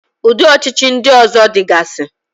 Ụdị ọchịchị ndị ọzọ dịgasi.